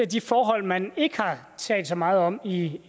de forhold man ikke har talt så meget om i